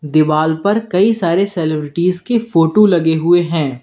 दीवाल पर कई सारे सेलिब्रिटीज के फोटो लगे हुए हैं।